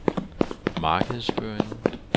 markedsføring